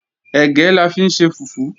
Ẹ̀gẹ́ la fi ń ṣe fùfú